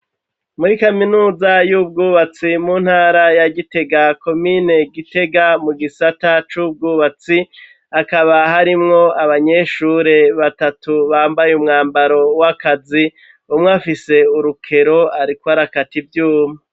Muri kaminuza y'ubwubatsi mu ntara ya Gitega komine Gitega mu gisata c'ubwubatsi ,hakaba harimwo abanyeshure batatu bambaye umwambaro w'akazi, umwe afise urukero arikl arakata ivyuma.